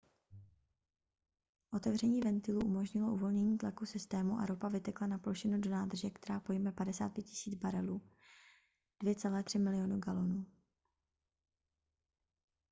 otevření ventilů umožnilo uvolnění tlaku systému a ropa vytekla na plošinu do nádrže která pojme 55 000 barelů 2,3 milionu galonů